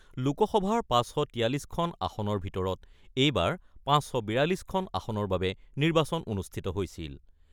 লোকসভাৰ ৫৪৩খন আসনৰ ভিতৰত এইবাৰ ৫৪২খন আসনৰ বাবে নিৰ্বাচন অনুষ্ঠিত হৈছিল।